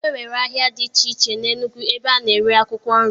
E nwere ahịa dị iche iche na Enugwu ebe a na-ere akwụkwọ nri